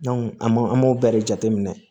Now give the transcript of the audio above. an m'o an b'o bɛɛ de jateminɛ